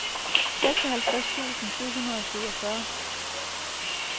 seksoghalvtreds tusind syv hundrede og syvogfyrre